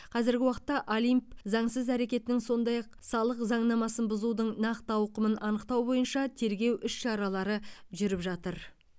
қазіргі уақытта олимп заңсыз әрекетінің сондай ақ салық заңнамасын бұзудың нақты ауқымын анықтау бойынша тергеу іс шаралары жүріп жатыр